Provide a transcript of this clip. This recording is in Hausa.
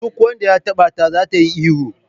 Duk wanda ya taba ta za ta yi ihu.